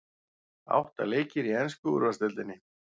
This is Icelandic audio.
Átta leikir í ensku úrvalsdeildinni